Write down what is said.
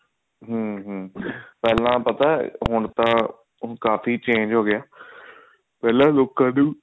ਹਮ ਪਹਿਲਾਂ ਪਤਾ ਹੁਣ ਤਾਂ ਕਾਫੀ change ਹੋਗਿਆ ਪਹਿਲਾਂ ਲੋਕਾਂ ਨੂੰ